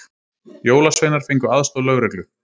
Jólasveinar fengu aðstoð lögreglu